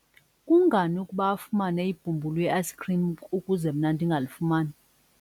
kungani ukuba afumane ibhumbulu le-ayisikhrim ukuze mna ndingalifumani?